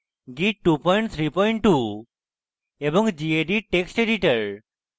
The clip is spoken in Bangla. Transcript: git 232 এবং gedit text editor